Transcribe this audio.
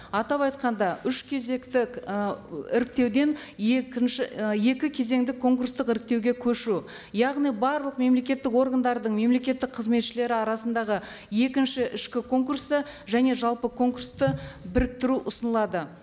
атап айтқанда үш кезекті і іріктеуден екінші і екі кезеңді конкурстық іріктеуге көшу яғни барлық мемлекеттік органдардың мемлекеттік қызметшілері арасындағы екінші ішкі конкурсты және жалпы конкурсты біріктіру ұсынылады